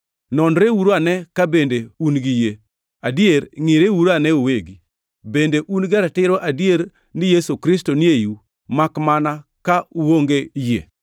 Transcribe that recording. Nonreuru ane ka bende un gi yie. Adier, ngʼireuru ane uwegi! Bende un gi ratiro adier ni Yesu Kristo ni eiu, makmana ka uonge yie?